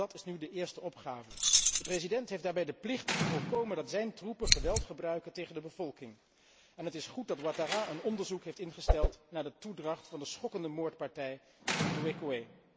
Dat is nu de eerste opgave. De president heeft daarbij de plicht te voorkomen dat zijn troepen geweld gebruiken tegen de bevolking en het is goed dat Ouattara een onderzoek heeft ingesteld naar de toedracht van de schokkende moordpartij in Duékoué.